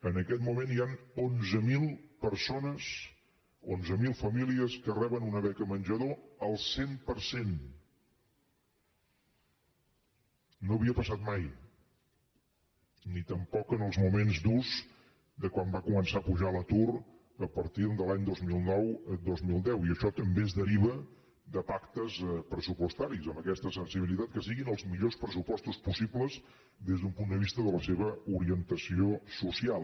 en aquest moment hi ha onze mil persones onze mil famílies que reben una beca menjador al cent per cent no havia passat mai ni tampoc en els moments durs de quan va començar a pujar l’atur a partir de l’any dos mil nou dos mil deu i això també es deriva de pactes pressupostaris amb aquesta sensibilitat que siguin els millors pressupostos possibles des d’un punt de vista de la seva orientació social